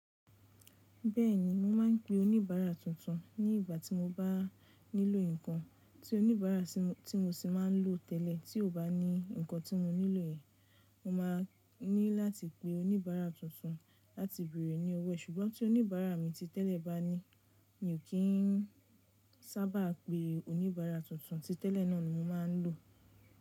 Bẹ́ẹ̀ni, mo máa ń pe oníbàárà tuntun ní ìgbà tí mo bá nílò nǹkan tí oníbàárà tí mo ṣì máa ń lò tẹ́lẹ̀ tí ò bá ní nǹkan tí mo nílò yẹn. Mo máa ní láti pé oníbàárà tuntun láti bèrè ní owó. Sùgbọ́n tí oníbàárà mi ti tẹ́lẹ̀ bá ní, mi ò kí ń sábà pé oníbàárà tuntun. Ti tẹ́lẹ̀ náà ni mo máa ń lò.